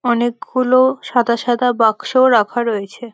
অনেকগুলো সাদা সাদা বাক্স রাখা রয়েছে ।